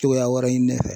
Togoya wɛrɛ ɲini ne fɛ